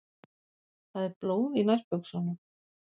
Það er blóð í nærbuxunum.